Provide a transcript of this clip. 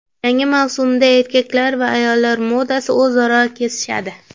Yangi mavsumda erkaklar va ayollar modasi o‘zaro kesishadi.